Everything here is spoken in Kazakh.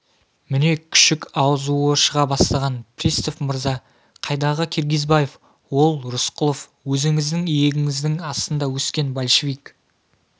міне күшік азуы шыға бастаған пристав мырза қайдағы киргизбаев ол рысқұлов өзіңіздің иегіңіздің астында өскен большевик